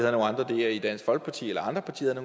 i dansk folkeparti eller